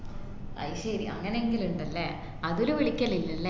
അയ്‌ശേരി അങ്ങനെ ഏങ്കിലും ഇണ്ടല്ലേ അതുൽ വിളികലില്ലല്ലെ